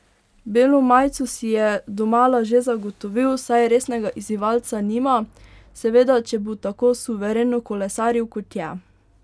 Belo majico si je domala že zagotovil, saj resnega izzivalca nima, seveda če bo tako suvereno kolesaril, kot je.